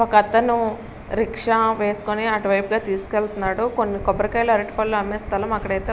ఒకతను రిక్షా వేసుకుని అటువైపుగా తీసుకెళ్తున్నాడు. కొన్నీ కొబ్బరికాయలు అరటిపళ్లు అమ్మే స్థలం అక్కడైతే --